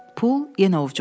Pul yenə ovcumda qaldı.